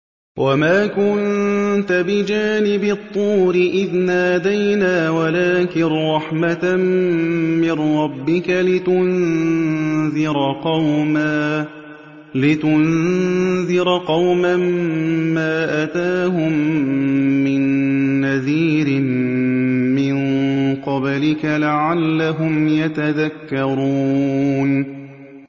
وَمَا كُنتَ بِجَانِبِ الطُّورِ إِذْ نَادَيْنَا وَلَٰكِن رَّحْمَةً مِّن رَّبِّكَ لِتُنذِرَ قَوْمًا مَّا أَتَاهُم مِّن نَّذِيرٍ مِّن قَبْلِكَ لَعَلَّهُمْ يَتَذَكَّرُونَ